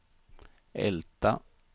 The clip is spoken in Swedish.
Älta